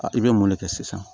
i bɛ mun de kɛ sisan